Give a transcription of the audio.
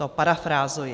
To parafrázuji.